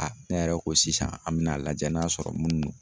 ne yɛrɛ ko sisan an mɛn'a lajɛ n'a sɔrɔ mun don.